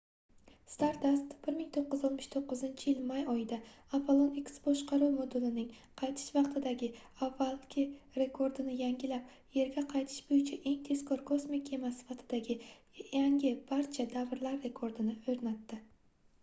stardust 1969-yil may oyida apollon x boshqaruv modulining qaytish vaqtidagi avvalgi rekordini yangilab yerga qaytish boʻyicha eng tezkor kosmik kema sifatidagi yangi barcha davrlar rekordini oʻrnatdi